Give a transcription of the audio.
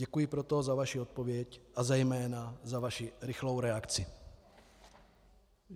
Děkuji proto za vaši odpověď a zejména za vaši rychlou reakci.